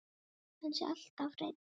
Hann sé alltaf hreinn.